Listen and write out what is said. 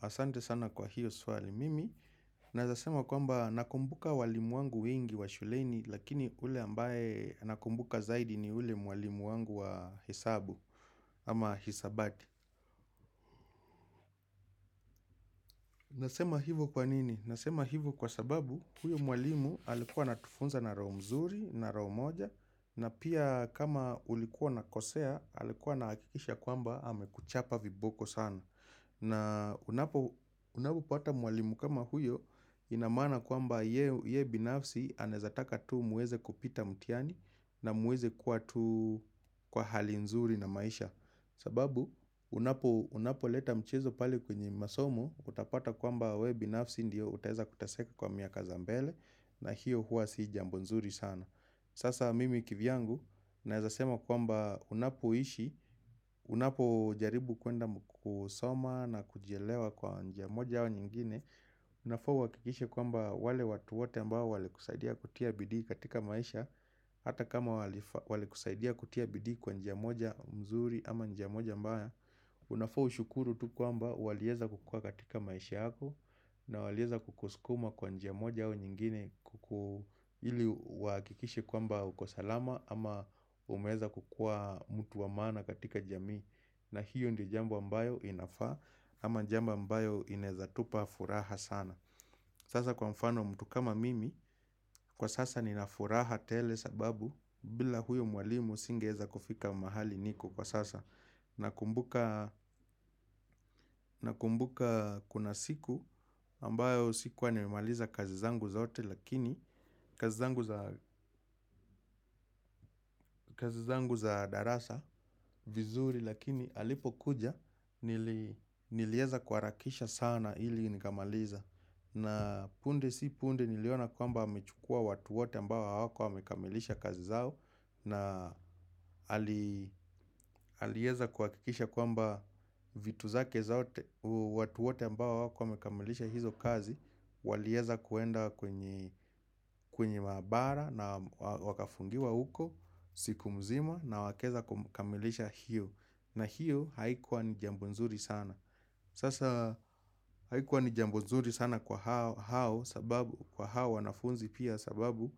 Asante sana kwa hiyo swali mimi, na wezasema kwamba nakumbuka walimu wangu wengi wa shuleni lakini ule ambaye nakumbuka zaidi ni yule mwalimu wangu wa hesabu ama hisabati. Nasema hivo kwa nini? Nasema hivo kwa sababu huyo mwalimu alikuwa ana tufunza na rao mzuri na rao moja na pia kama ulikuwa unakosea alikuwa nahakikisha kwamba hame kuchapa viboko sana. Na unapo pata mwalimu kama huyo inamana kwamba ye binafsi anezataka tu muweze kupita mtiani na muweze kuwa tu kwa hali nzuri na maisha. Sababu unapo leta mchezo pali kwenye masomu utapata kwamba we binafsi ndio utaheza kutaseka kwa miaka zambele na hiyo hua si jambonzuri sana. Sasa mimi kivyangu naezasema kwamba unapo ishi, unapo jaribu kuenda kusoma na kujelewa kwa njia moja wa nyingine Unafau wakikishe kwamba wale watuote mba wale kusaidia kutia bidi katika maisha Hata kama wale kusaidia kutia bidi kwa njia moja mzuri ama njia moja mba Unafau shukuru tu kwamba waleeza kukua katika maisha hako na waleza kukuskuma kwa njia moja au nyingine kuku ili wakikishi kwamba ukosalama ama umeza kukua mtu wa mana katika jamii na hiyo ndi jamba mbayo inafaa ama jamba mbayo inezatupa furaha sana Sasa kwa mfano mtu kama mimi kwa sasa ninafuraha tele sababu bila huyo mwalimu singeza kufika mahali niko kwa sasa na kumbuka kuna siku ambayo sikuwa niwemaliza kazi zangu zaote lakini kazi zangu za darasa vizuri lakini alipo kuja nilieza kwarakisha sana ili nikamaliza. Na punde si punde niliona kwamba amechukua watuote ambawa wako wamekamilisha kazi zao na halieza kuakikisha kwamba vitu zake zao watuote ambawa wako wamekamilisha hizo kazi Walieza kuenda kwenye mabara na wakafungiwa huko siku mzima na wakeza kamilisha hiyo na hiyo haikuwa ni jambunzuri sana Sasa haikuwa ni jambo zuri sana kwa hao sababu, kwa hao wanafunzi pia sababu,